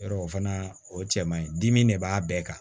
Yɔrɔ o fana o cɛ man ɲi dimi de b'a bɛɛ kan